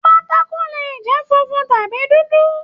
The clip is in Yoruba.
Pátákó lè jẹ funfun tàbí dúdú.